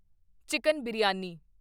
chicken biryani